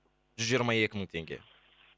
жүз жиырма екі мың теңге